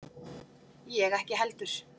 Ég ekki heldur.